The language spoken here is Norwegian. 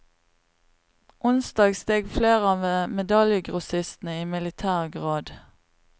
Onsdag steg flere av medaljegrossistene i militær grad.